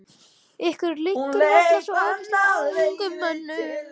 Ykkur liggur varla svo óskaplega á, ungum mönnunum.